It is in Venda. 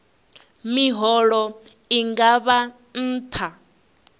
miholo i nga vha nṱha